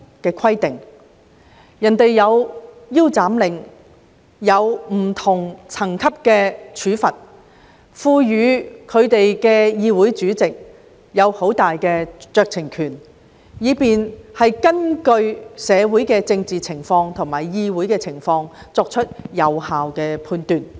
別人設有"腰斬令"，以及不同層級的罰則，並賦予議長很大酌情權，可以根據社會政治情況和議會情況作出有效判斷。